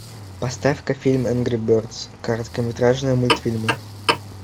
поставь ка фильм энгри бердс короткометражные мультфильмы